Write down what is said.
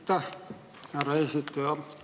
Aitäh, härra eesistuja!